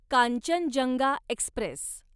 Kanchenjunga Express